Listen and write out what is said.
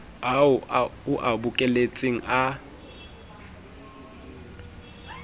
ao o a bokelletseng a